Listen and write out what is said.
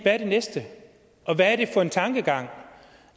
næste og hvad er det for en tankegang